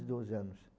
doze anos.